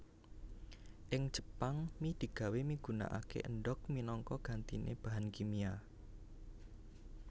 Ing Jepang mi digawé migunakaké endhog minangka gantiné bahan kimia